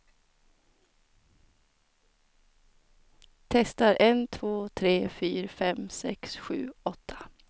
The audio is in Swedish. Testar en två tre fyra fem sex sju åtta.